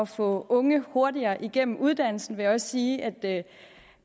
få unge hurtigere igennem uddannelsen vil jeg sige at